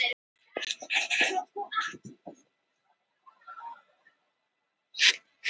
Mæja og Gedda gulrót horfa báðar á eftir henni.